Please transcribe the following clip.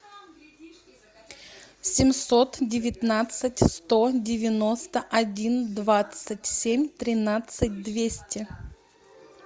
семьсот девятнадцать сто девяносто один двадцать семь тринадцать двести